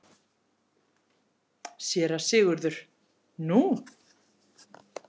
SÉRA SIGURÐUR: Nú?